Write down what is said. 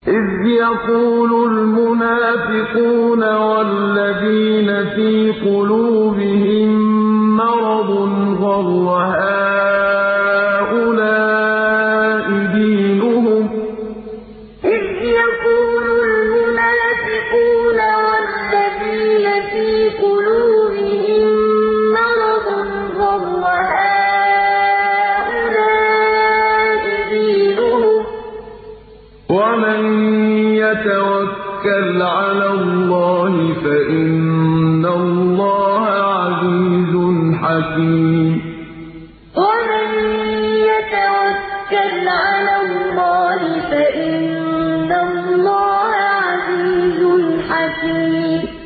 إِذْ يَقُولُ الْمُنَافِقُونَ وَالَّذِينَ فِي قُلُوبِهِم مَّرَضٌ غَرَّ هَٰؤُلَاءِ دِينُهُمْ ۗ وَمَن يَتَوَكَّلْ عَلَى اللَّهِ فَإِنَّ اللَّهَ عَزِيزٌ حَكِيمٌ إِذْ يَقُولُ الْمُنَافِقُونَ وَالَّذِينَ فِي قُلُوبِهِم مَّرَضٌ غَرَّ هَٰؤُلَاءِ دِينُهُمْ ۗ وَمَن يَتَوَكَّلْ عَلَى اللَّهِ فَإِنَّ اللَّهَ عَزِيزٌ حَكِيمٌ